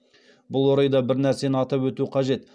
бұл орайда бір нәрсені атап өту қажет